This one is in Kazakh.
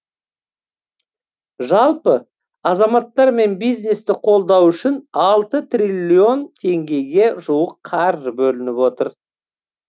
жалпы азаматтар мен бизнесті қолдау үшін алты триллион теңгеге жуық қаржы бөлініп отыр